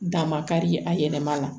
Dan ma kari a yɛlɛma na